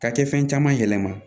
Ka kɛ fɛn caman yɛlɛma